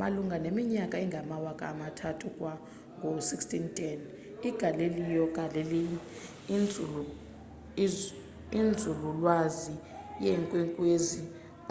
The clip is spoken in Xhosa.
malunga neminyaka engamawaka amathathu kamva ngo-1610 igalileo galilei inzululwazi yeenkwenkwenzi